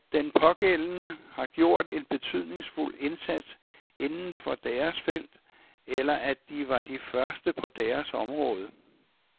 At den pågældende har gjort en betydningsfuld indsats inden for deres felt, eller at de var de første på deres område.